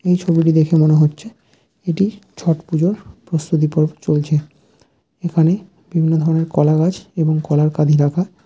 এই ছবিটি দেখে মনে হচ্ছে এটি ছট পুজোর প্রস্তুতি পর্ব চলছে এখানে বিভিন্ন ধরনের কলাগাছ এবং কলার কাঁধি রাখা।